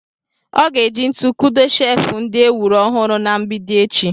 Ọ ga-eji ntu kudo sheefụ ndị e wuru ọhụrụ na mgbidi echi.